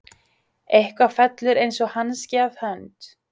Eitthvað fellur eins og hanski að hönd